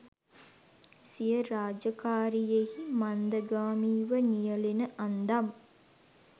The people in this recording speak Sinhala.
සිය රාජකාරියෙහි මන්දගාමීව නියලෙන අන්දම්